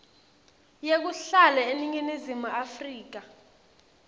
yekuhlala eningizimu afrika